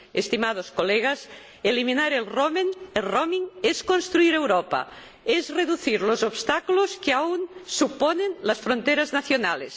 Estimados colegas, eliminar la itinerancia es construir Europa, es reducir los obstáculos que aún representan las fronteras nacionales.